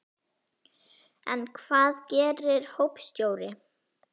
En hvað gerir hópstjóri?